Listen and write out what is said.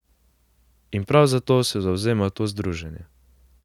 In prav za to se zavzema to združenje.